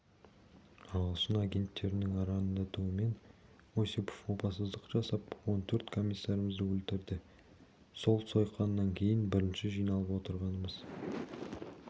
ағылшын агенттерінің арандатуымен осипов опасыздық жасап он төрт комиссарымызды өлтірді сол сойқаннан кейін бірінші жиналып отырғанымыз